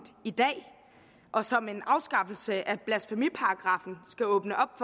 i dag og som en afskaffelse af blasfemiparagraffen skal åbne op